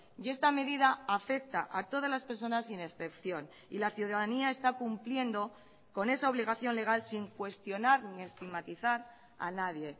y esta medida afecta a todas las personas sin excepción y la ciudadanía está cumpliendo con esa obligación legal sin cuestionar ni estigmatizar a nadie